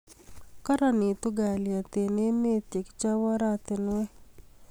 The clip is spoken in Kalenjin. Karanitu kalyet eng' emet ye kichop oratinwek